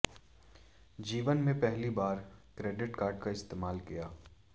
जीवन में पहली बार क्रेडिट कार्ड का इस्तेमाल किया